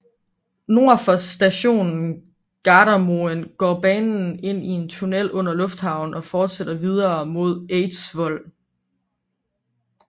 Nord for stationen Gardermoen går banen ind i en tunnel under lufthavnen og fortsætter videre mod Eidsvoll